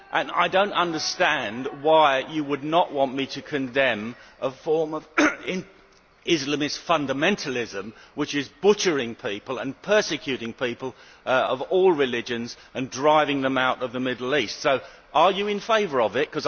Also, I do not understand why you would not want me to condemn a form of Islamic fundamentalism which is butchering people and persecuting people of all religions and driving them out of the Middle East. Are you in favour of that?